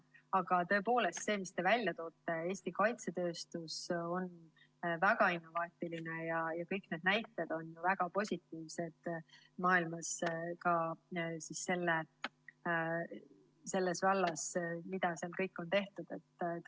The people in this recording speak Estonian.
Aga tõepoolest, nagu te välja tõite, Eesti kaitsetööstus on väga innovaatiline ja kõik need näited selles vallas, mida seal kõik on tehtud, on maailmas väga positiivsed.